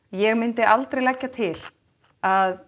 ég myndi aldrei leggja til að